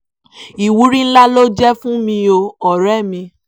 ìwúrí ńlá ló jẹ́ fún mi o ọ̀rẹ́ mi